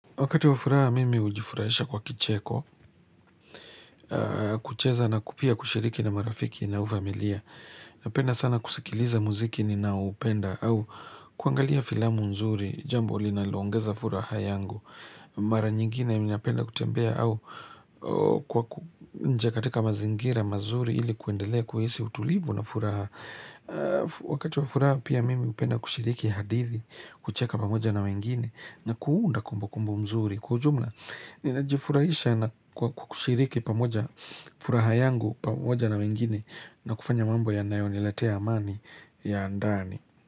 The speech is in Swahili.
Wakati wa furaha mimi hujifurahisha kwa kicheko, kucheza na pia kushiriki na marafiki na familia. Napenda sana kusikiliza muziki ninaoupenda au kuangalia filamu nzuri, jambo linaloongeza furaha yangu. Mara nyingine ninapenda kutembea au kwa nje katika mazingira mazuri ili kuendelea kuhisi utulivu na furaha. Wakati wa furaha pia mimi hupenda kushiriki hadithi, kucheka pamoja na wengine na kuunda kumbu kumbu nzuri. Kwa jumla, ninajifurahisha na kwa kushiriki pamoja furaha yangu pamoja na wengine na kufanya mambo yanayoniletea amani ya ndani.